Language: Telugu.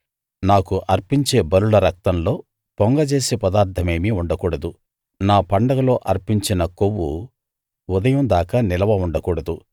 నాకు అర్పించే బలుల రక్తంలో పొంగజేసే పదార్థమేమీ ఉండకూడదు నా పండగలో అర్పించిన కొవ్వు ఉదయం దాకా నిలవ ఉండకూడదు